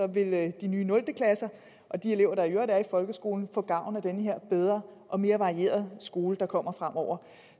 vil de nye nul klasser og de elever der i øvrigt er i folkeskolen få gavn af den her bedre og mere varierede skole der kommer fremover